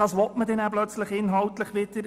Das will man natürlich auch haben.